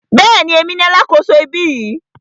Bẹ́ẹ̀ni, èmi ni alákòso ibí yìí.